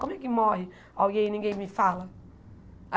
Como é que morre alguém e ninguém me fala?